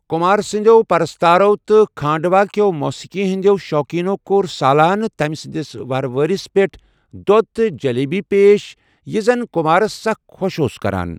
كُمار سندِیو پرستارو تہٕ كھانڈوا كیو موسیقی ہندِیو شوقینو كور سالانہٕ تمہِ سندِس ووہروٲدِس پیٹھ دودھ تہٕ جلیبی پیش ،یہِ زن خُمارس سخ كہوش كران اوس ۔